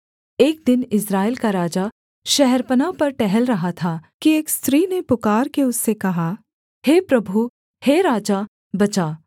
एक दिन इस्राएल का राजा शहरपनाह पर टहल रहा था कि एक स्त्री ने पुकारके उससे कहा हे प्रभु हे राजा बचा